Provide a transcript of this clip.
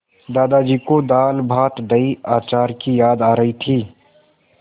दादाजी को दालभातदहीअचार की याद आ रही थी